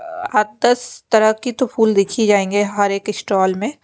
हताश तरह की तो फूल दिख ही जाएंगे हर एक स्टॉल में।